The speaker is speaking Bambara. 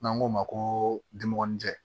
N'an k'o ma ko dimɔgɔnin tɛ